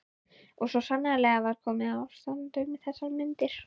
Og svo sannarlega var komið ástand um þessar mundir.